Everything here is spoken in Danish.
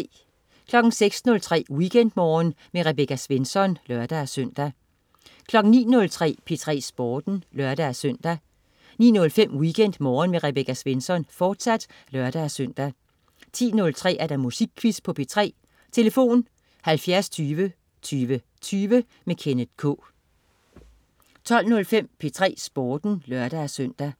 06.03 WeekendMorgen med Rebecca Svensson (lør-søn) 09.03 P3 Sporten (lør-søn) 09.05 WeekendMorgen med Rebecca Svensson, fortsat (lør-søn) 10.03 Musikquizzen på P3. Tlf.: 70 20 20 20. Kenneth K 12.05 P3 Sporten (lør-søn)